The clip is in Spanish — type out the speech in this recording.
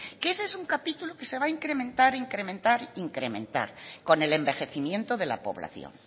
que ese es un capítulo que se va a incrementar incrementar e incrementar con el envejecimiento de la población